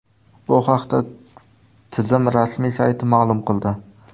Bu haqda tizim rasmiy sayti ma’lum qildi .